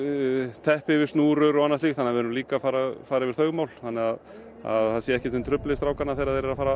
teppi yfir snúrur og annað slíkt þannig við erum líka að fara fara yfir þau mál þannig að það sé ekkert sem truflar strákana þegar þeir eru að fara